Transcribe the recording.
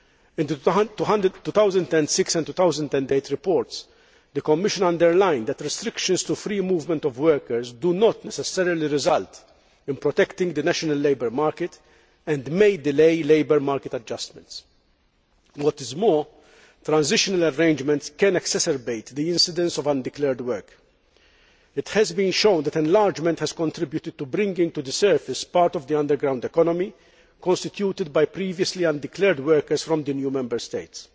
In the 2006 and 2008 reports, the Commission underlined that restrictions to free movement of workers do not necessarily result in protecting the national labour market and may delay labour market adjustments. What is more, transitional arrangements can exacerbate the incidence of undeclared work. It has been shown that enlargement has contributed to bringing to the surface part of the underground economy constituted by previously undeclared workers from the new Member States.